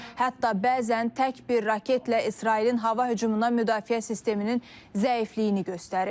Hətta bəzən tək bir raketlə İsrailin hava hücumuna müdafiə sisteminin zəifliyini göstərib.